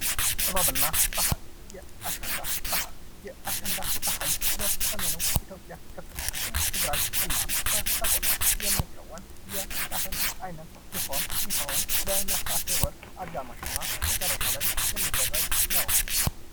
ጥበብና ባህል የአሸንዳ በዓል በሰሜኑ የኢትዮጵያ ክፍል በትግራይ እና በሰቆጣ የሚከወን የበዓል አይነት ሲሆን በነሀሴ ወር አጋማሽ እና መጨረሻ ላይ የሚደረግ ነው ።